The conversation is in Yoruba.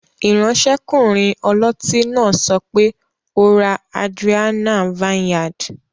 Iransekunrin oloti naa sope, "o ra Adrianna vineyard"